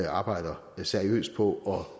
arbejder seriøst på at